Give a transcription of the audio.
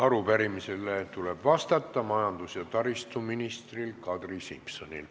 Arupärimisele tuleb vastata majandus- ja taristuminister Kadri Simsonil.